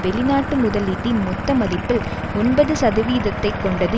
வெளிநாட்டு முதலீட்டின் மொத்த மதிப்பில் ஒன்பது சதவீதத்தைக் கொண்டது